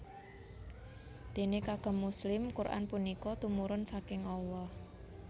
Déné kagem muslim Quran punika tumurun saking Allah